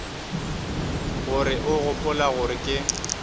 gore o gopola gore ke